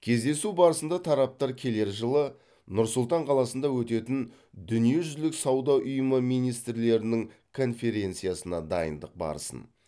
кездесу барысында тараптар келер жылы нұр сұлтан қаласында өтетін дүниежүзілік сауда ұйымы министрлерінің конференциясына дайындық барысын